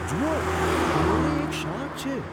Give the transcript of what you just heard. જુઓ! કિનારે એક શાર્ક છે!